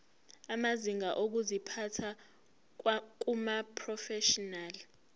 amazinga okuziphatha kumaprofeshinali